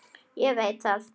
Ég veit þetta.